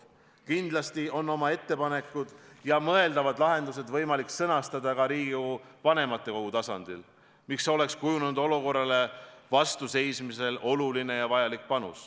Kindlasti on Riigikogu vanematekogul võimalik sõnastada oma ettepanekud ja mõeldavad lahendused, mis võiks kujunenud olukorra leevendamisel oluline olla.